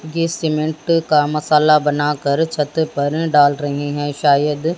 ये सीमेंट का मसाला बनाकर छत पर डाल रहे हैं शायद--